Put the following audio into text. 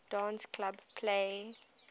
dance club play